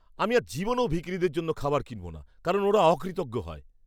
আমি আর জীবনেও ভিখিরিদের জন্য খাবার কিনব না, কারণ ওরা অকৃতজ্ঞ হয়।